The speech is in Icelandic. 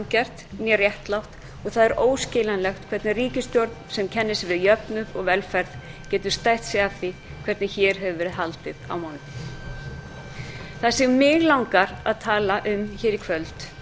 sanngjarnt né réttlátt og það er óskiljanlegt hvernig ríkisstjórn sem kennir sig við jöfnuð og velferð getur stært sig af því hvernig hér hefur verið haldið á málum það sem mig langar að tala um hér í kvöld